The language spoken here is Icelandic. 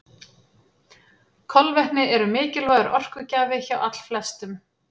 Kolvetni eru mikilvægur orkugjafi hjá allflestum.